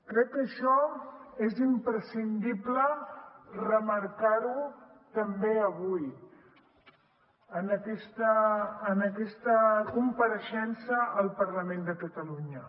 crec que això és imprescindible remarcar ho també avui en aquesta compareixença al parlament de catalunya